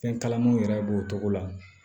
Fɛn kalamanw yɛrɛ b'o cogo la